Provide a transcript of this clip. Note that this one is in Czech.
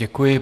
Děkuji.